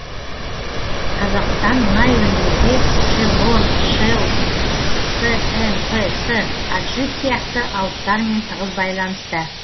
қазақстан мұнай өндіруде шеврон шелл снпс аджип сияқты алыптармен тығыз байланыста